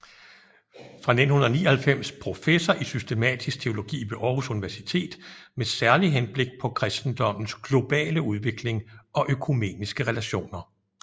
Fra 1999 professor i systematisk teologi ved Aarhus Universitet med særlig henblik på kristendommens globale udvikling og økumeniske relationer